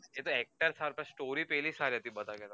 એતો actor સારો પણ story પેલી સારી હતી બધા કરતાં